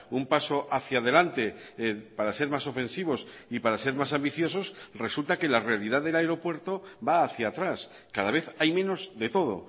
un paso hacía delante para ser más ofensivos y para ser más ambiciosos resulta que la realidad del aeropuerto va hacía atrás cada vez hay menos de todo